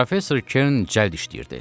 Professor Kern cəld işləyirdi.